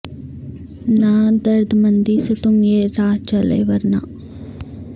نہ درد مندی سے تم یہ راہ چلے ورنہ